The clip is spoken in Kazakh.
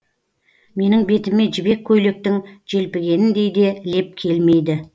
менің бетіме жібек көйлектің желпігеніндей де леп келмейді